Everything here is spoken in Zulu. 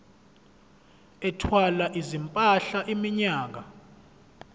ethwala izimpahla iminyaka